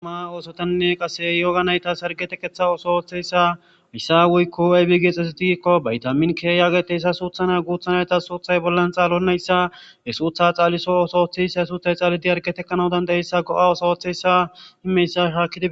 Ama oosotanne qase yooga nayta sargeteketha oso wooththeyssa missa wuykko ebi geexxezidikko bayta minkeyaagete yssa suuthana guutha nayta suuthay bollan xaalonnayssa he suutha xaaliso oso oththissa hesuuthay xalidi argetekkanawudandayeyssa go'a osa wooththeyssa himeyssa shaakidi.